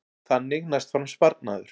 Þannig næst fram sparnaður